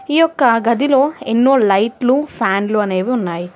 ఈ ఒక్క గదిలో ఎన్నో లైట్లు ఫ్యాన్లు అనేవి ఉన్నాయి.